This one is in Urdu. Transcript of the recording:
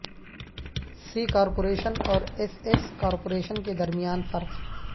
سی کارپوریشن اور ایس ایس کارپوریشن کے درمیان فرق